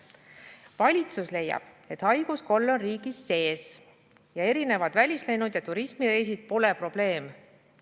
Valitsus leiab, et haiguskolle on riigis sees ja välislennud ja turismireisid pole probleem.